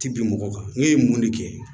Ti bin mɔgɔ kan ne ye mun de kɛ